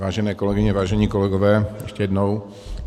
Vážené kolegyně, vážení kolegové, ještě jednou.